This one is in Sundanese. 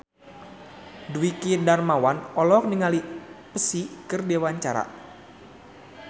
Dwiki Darmawan olohok ningali Psy keur diwawancara